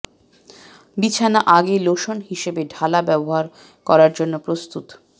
বিছানা আগে লোশন হিসাবে ঢালা ব্যবহার করার জন্য প্রস্তুত